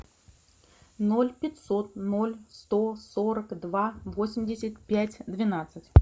ноль пятьсот ноль сто сорок два восемьдесят пять двенадцать